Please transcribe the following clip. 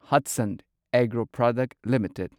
Hatsun agro product limited